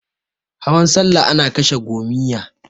Hawan salla ana kashe gomiyya.